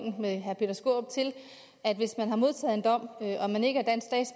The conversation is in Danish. til at hvis man har modtaget en dom